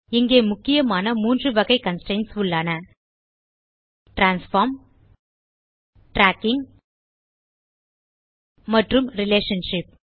இங்கே முக்கியமான மூன்று வகை கன்ஸ்ட்ரெயின்ட்ஸ் உள்ளன - டிரான்ஸ்ஃபார்ம் ட்ராக்கிங் மற்றும் ரிலேஷன்ஷிப்